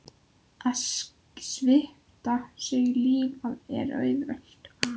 Að svipta sig lífi er auðvelt.